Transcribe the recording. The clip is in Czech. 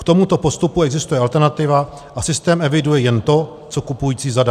K tomuto postupu existuje alternativa a systém eviduje jen to, co kupující zadá.